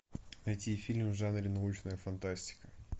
найти фильм в жанре научная фантастика